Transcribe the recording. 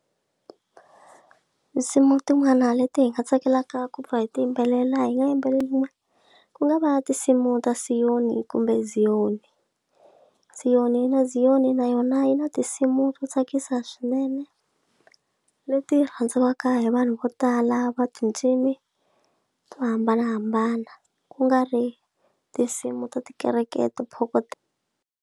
Nsimu tin'wana leti hi nga tsakelaka ku pfuna hi ti yimbelela hi nga yimbeleliwa ku nga va tinsimu ta siyoni kumbe Zion siyoni yi na Zion na yona yi na ti nsimu to tsakisa swinene leti rhandziwaka hi vanhu vo tala va cincile to hambanahambana ku nga ri tinsimu ta tikereke to phokotela.